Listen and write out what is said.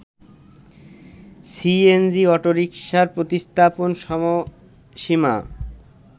CNG অটোরিকশার প্রতিস্থাপন সময়সীমা